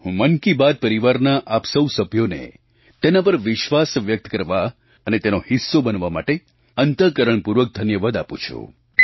હું મન કી બાત પરિવારના આપ સૌ સભ્યોને તેના પર વિશ્વાસ વ્યક્ત કરવા અને તેનો હિસ્સો બનવા માટે અંતઃકરણપૂર્વક ધન્યવાદ આપું છું